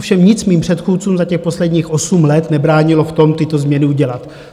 Ovšem nic mým předchůdcům za těch posledních osm let nebránilo v tom, tyto změny udělat.